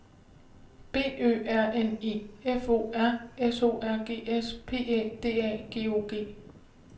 B Ø R N E F O R S O R G S P Æ D A G O G